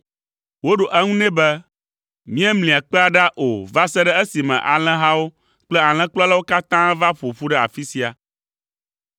Woɖo eŋu nɛ be, “Míemlia kpea ɖa o va se ɖe esime alẽhawo kple alẽkplɔlawo katã va ƒo ƒu ɖe afi sia.”